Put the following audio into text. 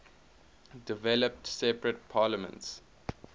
developed separate parliaments